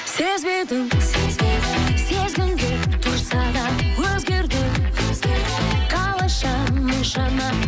сезбедің сезгің келіп тұрсаң да өзгердің қалайша мұншама